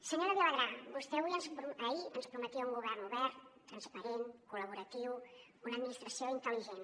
senyora vilagrà vostè ahir ens prometia un govern obert transparent col·laboratiu una administració intel·ligent